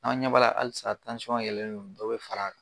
Anw ɲɛb'a la halisa yɛlɛnlo dɔ be far'a kan